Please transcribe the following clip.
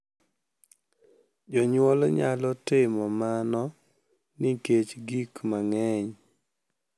Jonyuol nyalo timo mano nikech gik mang`eny.